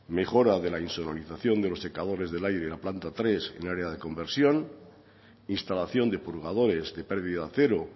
mejora de la insonorización de los secadores del aire en la planta tres en el área de conversión instalación de purgadores de pérdida cero